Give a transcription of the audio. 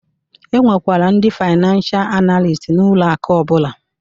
E nwekwara ndị faynansha analist n'ụlọ akụ ọbụla